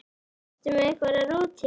Ertu með einhverja rútínu?